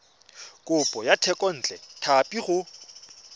kopo ya thekontle tlhapi go